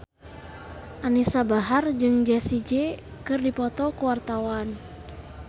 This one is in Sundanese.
Anisa Bahar jeung Jessie J keur dipoto ku wartawan